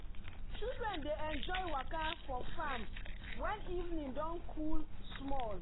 children dey enjoy waka for farm when evening don cool small.